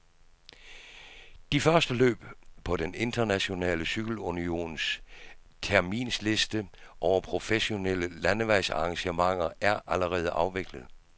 De første løb på den internationale cykelunions terminsliste over professionelle landevejsarrangementer er allerede afviklet.